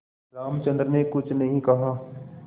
रामचंद्र ने कुछ नहीं कहा